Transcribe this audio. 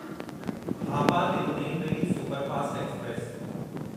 Hapa Tirunelveli superfast express